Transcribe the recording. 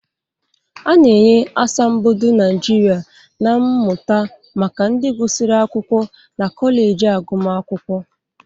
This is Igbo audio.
A na-enye Asambodo Nijiria na Mmụta maka ndị gụsịrị akwụkwọ na kọleji agụmakwụkwọ.